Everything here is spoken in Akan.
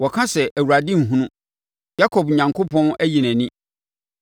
Wɔka sɛ, “ Awurade nhunu, Yakob Onyankopɔn ayi nʼani.”